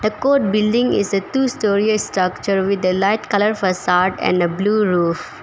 The code building is a two-storey structure with a light colour facade and a blue roof.